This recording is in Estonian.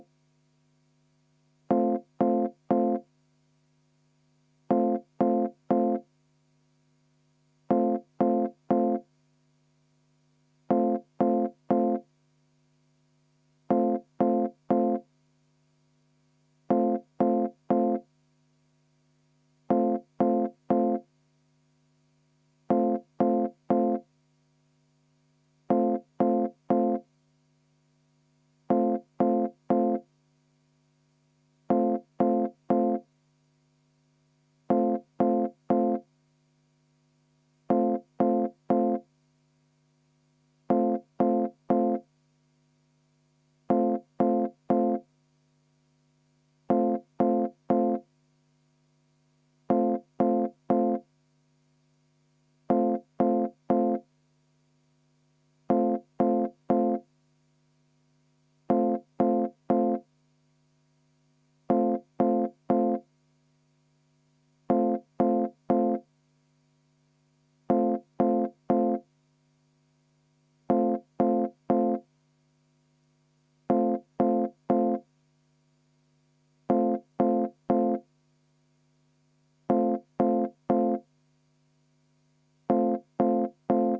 V a h e a e g